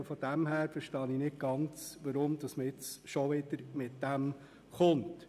Insofern verstehe ich nicht ganz, weshalb man schon wieder mit diesem Vorschlag kommt.